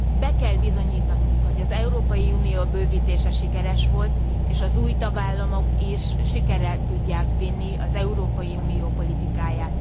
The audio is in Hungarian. Be kell bizonyítanunk, hogy az Európai Unió bővítése sikeres volt, és az új tagállamok is sikerre tudják vinni az Európai Unió politikáját.